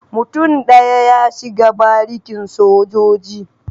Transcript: Mutum daya ya shiga barikin sojoji.